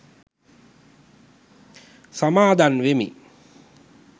සමාදන් වෙමි.